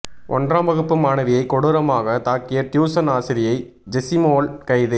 ஒன்றாம் வகுப்பு மாணவியை கொடூரமாக தாக்கிய டியூசன் ஆசிரியை ஜெசிமோள் கைது